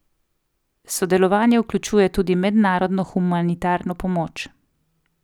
Sodelovanje vključuje tudi mednarodno humanitarno pomoč.